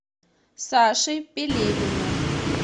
саше пелевину